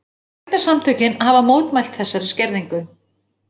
Bændasamtökin hafa mótmælt þessari skerðingu